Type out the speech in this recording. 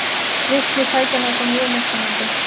Virkni tækjanna er þó mjög mismunandi.